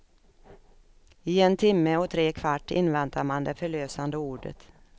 I en timme och tre kvart inväntar man det förlösande ordet.